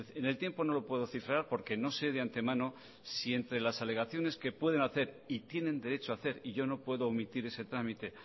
en el tiempo no lo puedo cifrar porque no se de antemano si entre las alegaciones que pueden hacer y tienen derecho ha hacer y yo no puedo omitir ese trámite